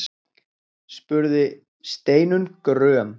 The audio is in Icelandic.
spurði Steinunn gröm.